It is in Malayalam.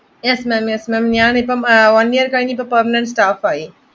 Yes ma'am yes ma'am ഞാനിപ്പോ one year കഴിഞ്ഞിട്ട് permanent staff ആയി